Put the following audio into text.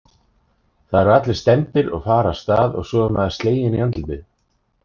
Það eru allir stemmdir og fara af stað og svo er maður sleginn í andlitið